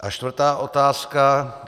A čtvrtá otázka.